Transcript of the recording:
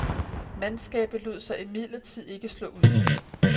Mandskabet lod sig imidlertid ikke slå ud.